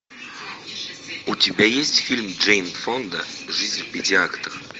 у тебя есть фильм джейн фонда жизнь в пяти актах